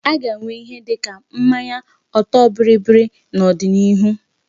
A ga-enwe ìhè dịka mmanya ọtọ bịrịbịrị n'odinihu.